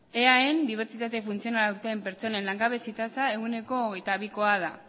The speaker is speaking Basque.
eaen dibertsitate funtzionala duten pertsonen langabezi tasa ehuneko hogeita bikoa da